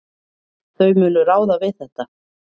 Þau munu ráða við þetta.